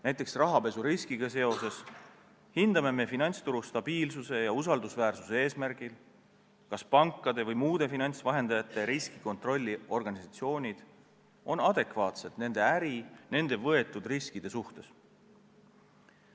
Näiteks rahapesuriskiga seoses hindame finantsturu stabiilsuse ja usaldusväärsuse eesmärgil, kas pankade või muude finantsvahendajate riskikontrolli organisatsioonid on adekvaatsed nende äri, nende võetud riskide suhtes.